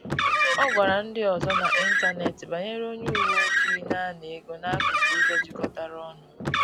Ọ gwara ndị ọzọ n’ịntanetị banyere onye uweojii na-ana ego n’akụkụ ụzọ jikọtara ọnụ